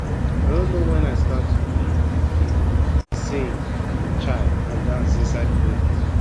i no know wen i i start to dey um sing um and dance inside the bathroom